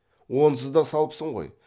онсыз да салыпсың ғой